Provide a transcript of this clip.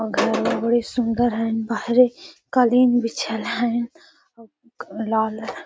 अ घरवा बड़ी सुंदर है बाहरे कलीन बिछाएल हेय अ लाल --